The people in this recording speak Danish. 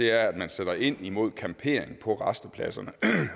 er at man sætter ind imod campering på rastepladserne